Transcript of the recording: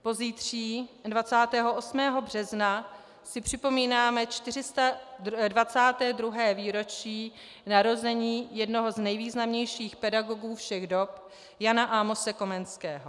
Pozítří, 28. března, si připomínáme 422. výročí narození jednoho z nejvýznamnějších pedagogů všech dob Jana Amose Komenského.